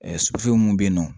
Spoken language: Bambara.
Ɛɛ mun be yen nɔ